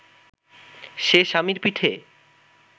সে স্বামীর পিঠে